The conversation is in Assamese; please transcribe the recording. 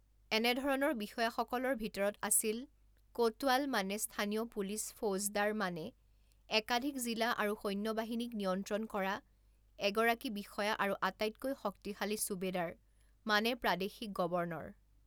এনেধৰণৰ বিষয়াসকলৰ ভিতৰত আছিল কোটৱাল মানে স্থানীয় পুলিচ ফৌজদাৰ মানে একাধিক জিলা আৰু সৈন্যবাহিনীক নিয়ন্ত্ৰণ কৰা এগৰাকী বিষয়া আৰু আটাইতকৈ শক্তিশালী ছুবেদাৰ মানে প্ৰাদেশিক গৱৰ্ণৰ।